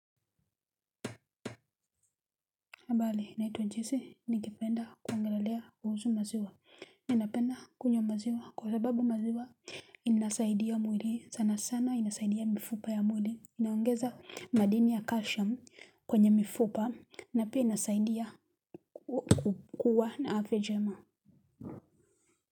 Habari naitwa josee ningependa kuongelelea kuhusu maziwa ninapenda kunywa maziwa kwa sababu maziwa inasaidia mwili sana sana inasaidia mifupa ya mwili inaongeza madini ya calcium kwenye mifupa na pia inasaidia kuwa na afya njema.